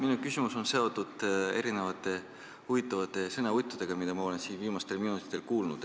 Minu küsimus on seotud mitme huvitava sõnavõtuga, mida ma olen siin viimastel minutitel kuulnud.